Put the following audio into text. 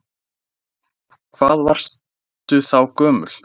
Hafsteinn: Hvað varstu þá gömul?